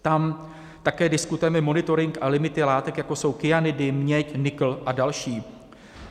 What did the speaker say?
Tam také diskutujeme monitoring a limity látek, jako jsou kyanidy, měď, nikl a další.